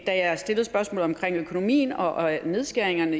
da jeg stillede spørgsmålet om økonomien og nedskæringerne at